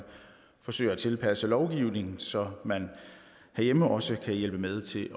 forsøger at tilpasse lovgivningen så man herhjemme også kan hjælpe med til